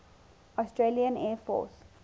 australian air force